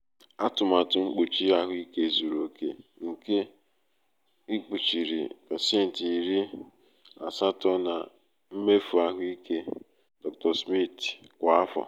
atụmatụ mkpuchi ahụike zuru oke nke aetna kpuchiri pecenti iri asato nke mmefu ahụike dr. smith kwa afọ.